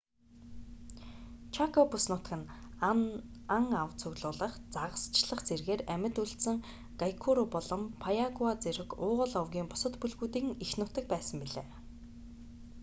чако бүс нутаг нь ан ав цуглуулах загасчлах зэргээр амьд үлдсэн гуайкуру болон паяагуа зэрэг уугуул овгийн бусад бүлгүүдийн эх нутаг байсан билээ